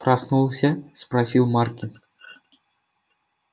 проснулся спросил маркин